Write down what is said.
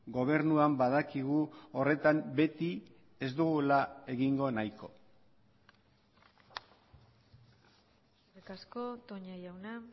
gobernuan badakigu horretan beti ez dugula egingo nahiko eskerrik asko toña jauna